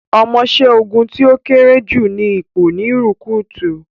Omoṣẹ́ ogun tí ó kéré jù ni ipò ni rukútù